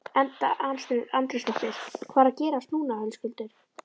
Edda Andrésdóttir: Hvað er að gerast núna Höskuldur?